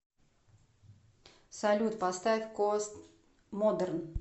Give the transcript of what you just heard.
салют поставь кост модерн